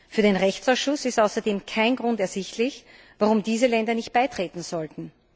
Für den Rechtsausschuss ist außerdem kein Grund ersichtlich, warum diese Länder nicht beitreten sollten.